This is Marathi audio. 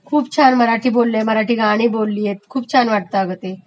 खूप छान मराठी बोललयं, मराठी गाणी बोललियत, खूप छान वाटतं अगं ते